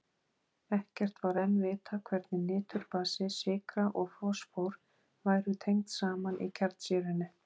Ekkert var enn vitað hvernig niturbasi, sykra og fosfór væru tengd saman í kjarnsýrunni.